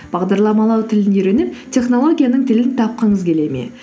бағдарламалау тілін үйреніп технологияның тілін тапқыңыз келе ме